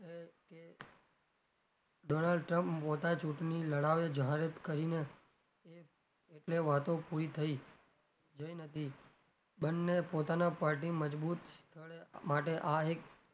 donald trump મોટા ચુંટણી લડાવે કરીને એક એટલે વાતો પૂરી થઇ હતી બંને પોતાના party મજબુત સ્થળે માટે આ એક,